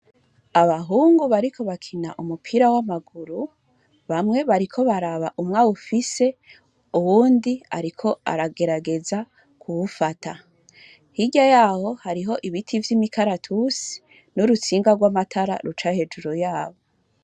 Abahungu bariko barakina umupira w’amaguru, bamwe bariko baraba umwe awufise, uwundi ariko aragerageza kuwufata, hirya yaho hariho ibiti vy’imikaratusi, n’urutsinga rw’amatara ruca hejuru yabo.